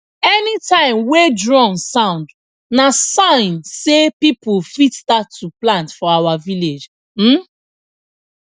anytime wey drum sound na sign sey people fit start to plant for our village um